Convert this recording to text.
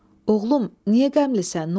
Oğlum, niyə qəmlisən, nə olub?